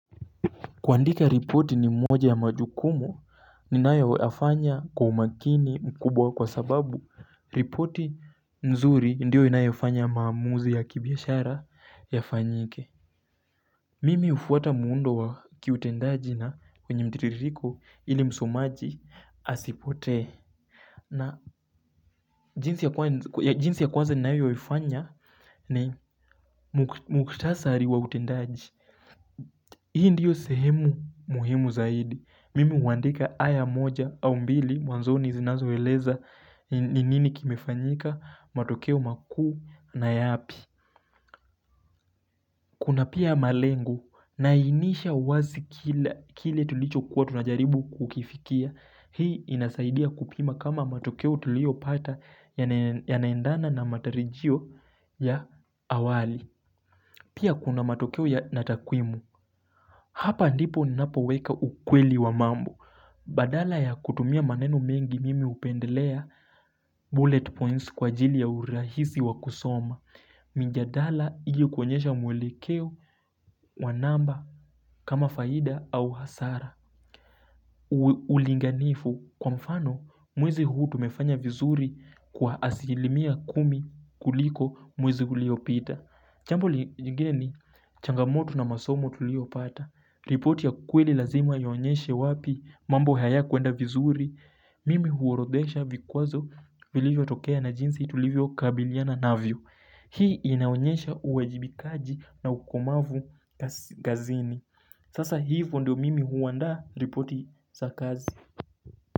Kuandika ripoti ni mmoja ya majukumu ninayo yafanya kwa umakini mkubwa kwa sababu ripoti nzuri ndiyo inayo yafanya maamuzi ya kibiashara ya fanyike Mimi hufuata muundo wa kiutendaji na kwenye mtiririko ili msomaji asipote na jinsi ya kwanza ninayo yafanya ni mkutasari wa utendaji Hii ndiyo sehemu muhimu zaidi Mimi huandika aya moja au mbili mwanzo ni zinazo eleza ni nini kimefanyika matokeo makuu na yapi Kuna pia malengu nainisha wazi kile tulicho kuwa tunajaribu kukifikia Hii inasaidia kupima kama matokeo tulio pata ya naendana na matarijio ya awali Pia kuna matokeo ya natakwimu Hapa ndipo napoweka ukweli wa mambo Badala ya kutumia manenu mengi mimi hupendelea bullet points kwa jili ya urahisi wakusoma Minjadala ili kwenyesha mwelekeo wanamba kama faida au hasara Ulinganifu kwa mfano mwezi huu tumefanya vizuri kwa asilimia kumi kuliko mwezi ulio pita Chambo lingeni changamoto na masomo tulio pata ripoti ya kweli lazima iyonyeshe wapi mambo haya kuenda vizuri Mimi huorodhesha vikwazo vilivyo tokea na jinsi tulivyo kabiliana navyo Hii inaonyesha uwajibikaji na ukomavu gazini Sasa hivyo ndio mimi huwanda ripoti za kazi.